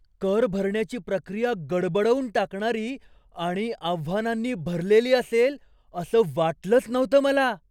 कर भरण्याची प्रक्रिया गडबडवून टाकणारी आणि आव्हानांनी भरलेली असेल असं वाटलंच नव्हतं मला.